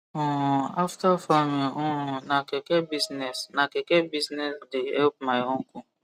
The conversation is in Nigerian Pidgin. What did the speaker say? um after farming um na keke business na keke business the help my uncle